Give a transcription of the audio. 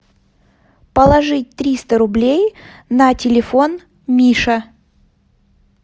положить триста рублей на телефон миша